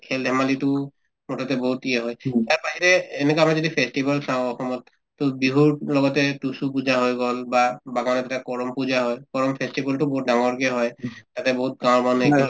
খেল-ধেমালিতো মুঠতে বহুত হয় তাত বাহিৰে এনেকুৱা আমাৰ যদি festival চাওঁ অসমত to বিহুৰ লগতে তুচু পূজা হৈ গল বা বাগানতে কৰম পূজা হয় কৰম festival তো বহুত ডাঙৰকে হয় তাতে বহুত গাঁৱৰ মানুহে